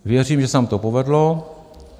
Věřím, že se nám to povedlo.